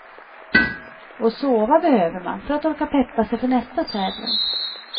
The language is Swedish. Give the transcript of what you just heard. Och sova behöver man för att orka peppa sig för nästa tävling.